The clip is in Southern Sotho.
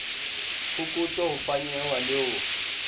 phokotso ho fanyehwa le ho